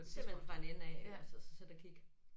Simpelthen fra en ende af altså så der gik